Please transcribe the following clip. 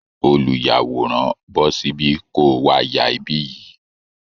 Olùyàwòrán, bọ́ síbí, kó o wá ya ibí yìí